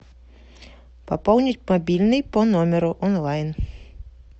пополнить мобильный по номеру онлайн